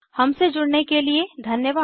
हमसे जुड़ने के लिए धन्यवाद